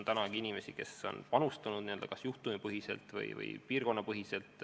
Praegugi on inimesi, kes on panustanud kas juhtumipõhiselt või piirkonnapõhiselt.